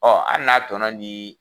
Ɔ an n'a tɔnɔ di